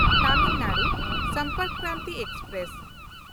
Tamil Nadu Sampark Kranti express